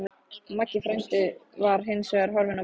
Maggi frændi var hins vegar horfinn á braut.